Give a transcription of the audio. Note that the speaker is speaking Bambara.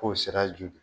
K'o sira jo de